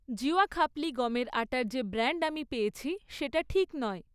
জিওয়া খাপলি গমের আটার যে ব্র্যান্ড আমি পেয়েছি সেটা ঠিক নয়